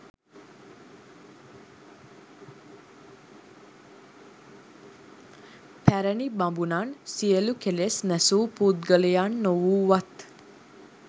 පැරැණි බමුණන් සියලු කෙලෙස් නැසූ පුද්ගලයන් නොවූවත්